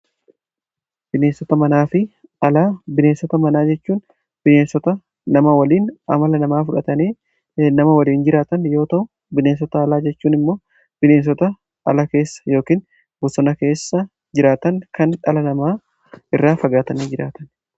Bineensota manaafi alaa. Bineensota manaa jechuun bineensota nama waliin amala namaa fudhatanii nama waliin jiraatan yoo ta'u, bineensota alaa jechuun immoo bineensota ala keessa yookiin bosona keessa jiraatan kan dhala namaa irraa fagaatanii jiraataniidha.